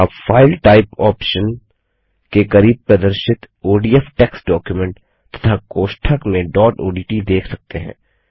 आप file type option के करीब प्रदर्शित ओडीएफ टेक्स्ट डॉक्यूमेंट तथा कोष्ठक में डॉट ओडीटी देख सकते हैं